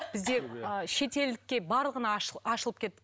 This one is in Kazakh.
бізде шетелдікке барлығына ашылып кеп